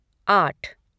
आठ